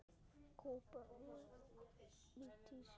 Kúba er í tísku.